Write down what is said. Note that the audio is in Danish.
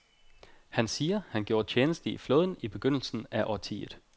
Han siger, han gjorde tjeneste i flåden i begyndelsen af årtiet.